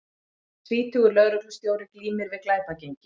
Tvítugur lögreglustjóri glímir við glæpagengi